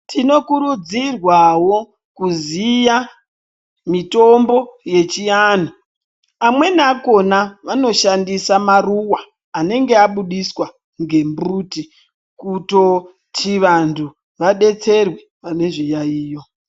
Tinokurudzirwa wo kuziya mitombo yechiantu amweniakona anoshandise maruwa anenge aburitswa ngemuti kutoti vantu vadetserwe ne zviyayiyo.